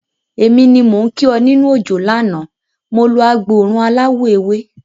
Èmi ni mò ń kí ọ nínú òjò lánàá, mo lo agbòòrùn aláwọ̀ ewé.